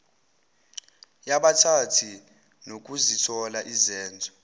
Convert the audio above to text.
yabathile nokuzithola izenzo